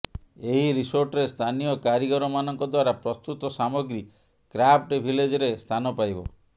ଏହି ରିସୋର୍ଟରେ ସ୍ଥାନୀୟ କାରିଗରମାନଙ୍କ ଦ୍ୱାରା ପ୍ରସ୍ତୁତ ସାମଗ୍ରୀ କ୍ରାଫ୍ଟ ଭିଲେଜରେ ସ୍ଥାନ ପାଇବ